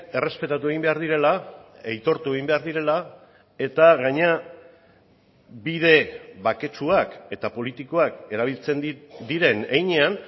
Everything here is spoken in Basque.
errespetatu egin behar direla aitortu egin behar direla eta gainera bide baketsuak eta politikoak erabiltzen diren heinean